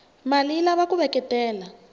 male yilava kuveketela